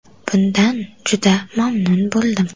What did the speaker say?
Bundan juda mamnun bo‘ldim.